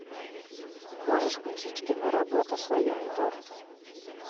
можешь включить киноработу слоеный торт